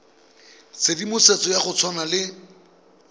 tshedimosetso ya go tshwana le